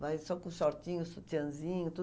Vai só com shortinho, sutiãzinho, tudo.